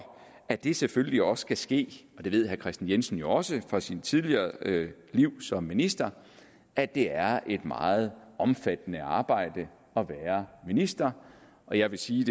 at det selvfølgelig også skal ske herre kristian jensen ved jo også fra sit tidligere liv som minister at det er et meget omfattende arbejde at være minister og jeg vil sige